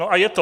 No a je to!